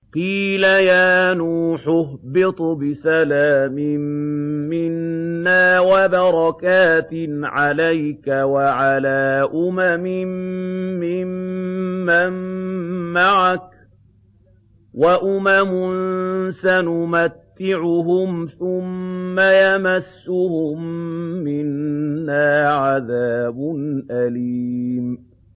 قِيلَ يَا نُوحُ اهْبِطْ بِسَلَامٍ مِّنَّا وَبَرَكَاتٍ عَلَيْكَ وَعَلَىٰ أُمَمٍ مِّمَّن مَّعَكَ ۚ وَأُمَمٌ سَنُمَتِّعُهُمْ ثُمَّ يَمَسُّهُم مِّنَّا عَذَابٌ أَلِيمٌ